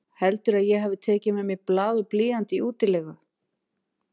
Heldurðu að ég hafi tekið með mér blað og blýant í útilegu?